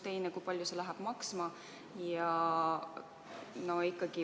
Teiseks, kui palju see maksma läheb?